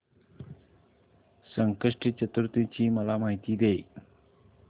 संकष्टी चतुर्थी ची मला माहिती दे